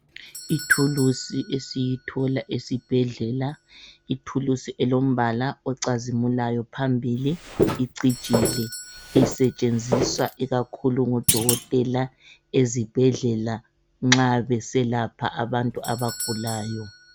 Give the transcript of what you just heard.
Ithulusi esiyithola esibhedlela, ithulisi elombala ocazimulayo phambili icijile. Isetshenziswa ikakhulu ngudokotela ezibhedlela nxa beselapha abantu abagulayo.